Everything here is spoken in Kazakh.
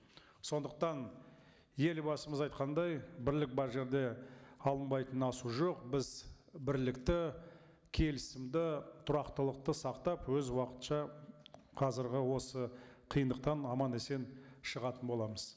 сондықтан елбасымыз айтқандай бірлік бар жерде алынбайтын асу жоқ біз бірлікті келісімді тұрақтылықты сақтап өз уақытша қазіргі осы қиындықтан аман есен шығатын боламыз